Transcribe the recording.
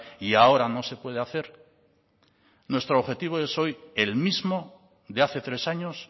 y ahora no se puede hacer nuestro objetivo es hoy el mismo de hace tres años